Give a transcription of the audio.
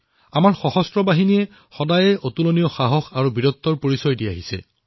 আমাৰ সশস্ত্ৰবাহিনীয়ে সদায়েই অদ্বিতীয় সাহস আৰু পৰাক্ৰমৰ পৰিচয় দি আহিছে